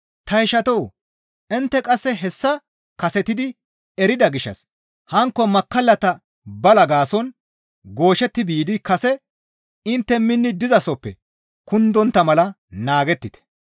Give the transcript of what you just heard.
Ta ishatoo! Intte qasse hessa kasetidi erida gishshas hankko makkallata balaa gaason gooshetti biidi kase intte minni dizasoppe kundontta mala naagettite.